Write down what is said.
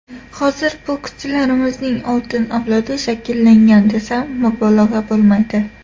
Hozir bokschilarimizning oltin avlodi shakllangan desam, mubolag‘a bo‘lmaydi.